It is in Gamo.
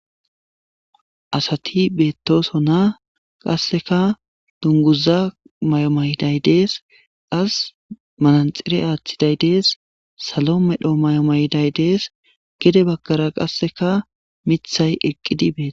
Asati beettoso na qasseka dunguza may7o mayday dees as mananxire aaththiday dees salo medho may7o mayday dees gede baggara qasseka mithay eqqidi bee